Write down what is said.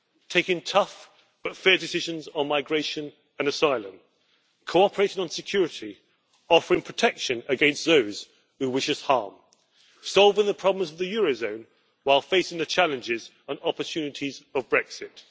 taking tough but fair decisions on migration and asylum, cooperating on security, offering protection against those who wish us harm, and solving the problems of the eurozone while facing the challenges and opportunities of Brexit.